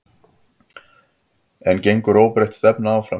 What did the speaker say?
En gengur óbreytt stefna áfram?